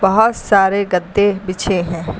बहोत सारे गद्दे बिछे हैं।